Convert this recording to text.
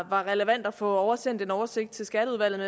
var relevant at få oversendt en oversigt til skatteudvalget